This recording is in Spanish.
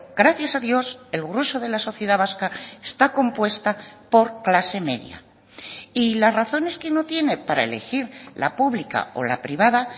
gracias a dios el grueso de la sociedad vasca está compuesta por clase media y las razones que no tiene para elegir la pública o la privada